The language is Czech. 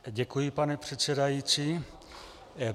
Děkuji, pane předsedající.